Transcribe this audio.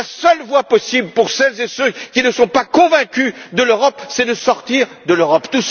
Farage. La seule voie possible pour celles et ceux qui ne sont pas convaincus de l'Europe, c'est de sortir de l'Europe.